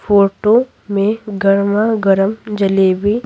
photo में गरमागरम जलेबी--